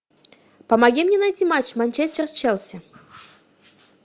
помоги мне найти матч манчестер с челси